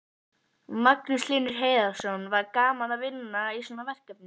Magnús Hlynur Hreiðarsson: Var gaman að vinna í svona verkefni?